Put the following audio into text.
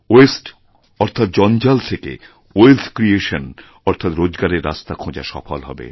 ওয়াস্তে অর্থাৎ জঞ্জাল থেকে ওয়েলথ ক্রিয়েশন অর্থাৎরোজগারের রাস্তা খোঁজা সফল হবে